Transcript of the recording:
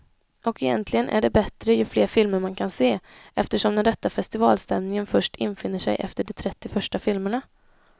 Och egentligen är det bättre ju fler filmer man kan se, eftersom den rätta festivalstämningen först infinner sig efter de trettio första filmerna.